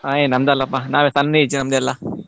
ಏ ನಂದಲ್ಲಪ್ಪಾ ನಾವೆಲ್ಲ ಸಣ್ಣ age ನಮ್ದೆಲ್ಲಾ.